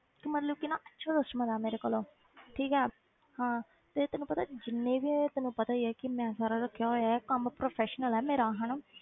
ਤੇ ਮਤਲਬ ਕਿ ਨਾ ਅੱਛਾ customer ਆ ਮੇਰੇ ਕੋਲ ਉਹ ਠੀਕ ਹੈ ਹਾਂ ਤੇ ਤੈਨੂੰ ਪਤਾ ਜਿੰਨੇ ਵੀ ਤੈਨੂੰ ਪਤਾ ਹੀ ਹੈ ਕਿ ਮੈਂ ਸਾਰਾ ਰੱਖਿਆ ਹੋਇਆ ਹੈ ਕੰਮ professional ਹੈ ਮੇਰਾ ਹਨਾ